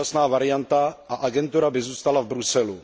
dočasná varianta a agentura by zůstala v Bruselu.